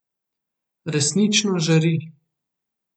Resnično žari.